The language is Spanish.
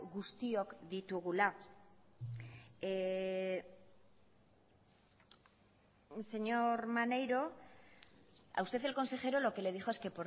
guztiok ditugula señor maneiro a usted el consejero lo que le dijo es que